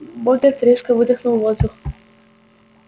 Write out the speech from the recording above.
богерт резко выдохнул воздух